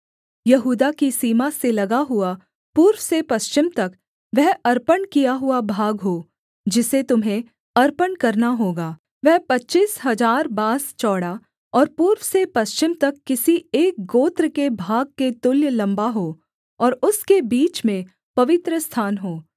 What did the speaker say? यहूदा की सीमा से लगा हुआ पूर्व से पश्चिम तक वह अर्पण किया हुआ भाग हो जिसे तुम्हें अर्पण करना होगा वह पच्चीस हजार बाँस चौड़ा और पूर्व से पश्चिम तक किसी एक गोत्र के भाग के तुल्य लम्बा हो और उसके बीच में पवित्रस्थान हो